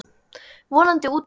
Vonandi úti líka.